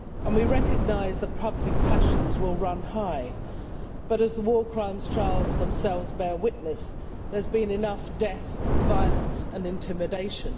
We recognise that public passions will run high but, as the war crimes trials themselves bear witness, there has been enough death, violence and intimidation.